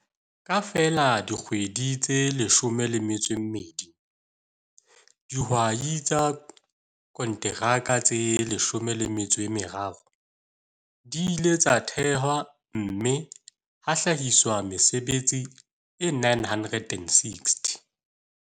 Ka feela dikgwedi tse 12, dihwai tsa konteraka tse 13 di ile tsa thehwa mme ha hlahiswa mesebetsi e 960.